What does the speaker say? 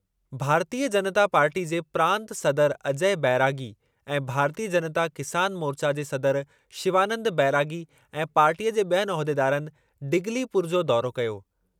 भारतीय जनता पार्टीअ जे प्रांत सदर अजय बैरागी ऐं भारतीय जनता किसान मोर्चा जे सदर शिवानन्द बैरागी ऐं पार्टीअ जे ॿियनि उहिदेदारनि डिगलीपुर जो दौरो कयो।